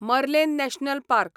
मर्लेन national park